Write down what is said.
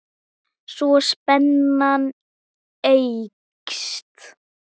Svo spennan eykst.